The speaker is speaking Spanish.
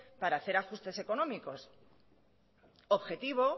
para hacer ajustes económicos objetivo